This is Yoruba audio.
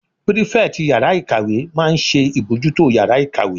Pírífẹ̀tì yàrá-ìkàwé máa n ṣe ìbojútó yàrá-ìkàwé